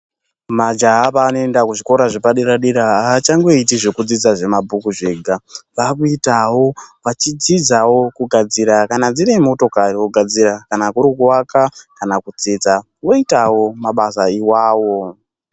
Majaha paanoenda kuzvikora zvepadera dera haachangoiti zvekudzidza zvemabhuku zvega. Vakuitawo vachidzidzao kugadzira kana dziri motokari vogadzira kana kuri kuwaka kana kudzidza voitawo mabasa iwawo.